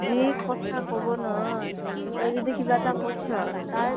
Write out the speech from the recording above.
যি কথা কʼব নহয়। তই যদি কিবা এটা কৈছʼ, তাৰ